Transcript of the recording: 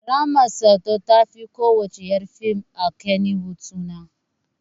Rahma Sadau ta fi ko wacce ƴar fim a Kannywood suna